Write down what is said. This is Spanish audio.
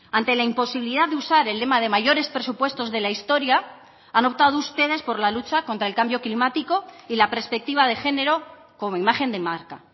ante la imposibilidad de usar el lema de mayores presupuestos de la historia han optado ustedes por la lucha contra el cambio climático y la perspectiva de género como imagen de marca